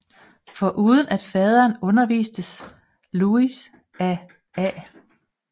Foruden af faderen undervistes Louis af A